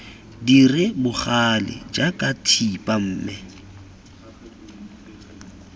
dire bogale jaaka thipa mme